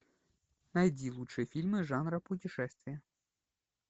найди лучшие фильмы жанра путешествия